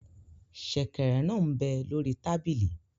Sẹ̀kẹ̀rẹ̀ náà m bẹ lórí tábìlì